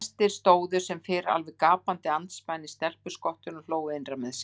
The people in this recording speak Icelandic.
Gestir stóðu sem fyrr alveg gapandi andspænis stelpuskottinu og hlógu innra með sér.